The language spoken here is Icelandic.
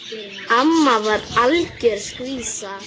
Amma var algjör skvísa.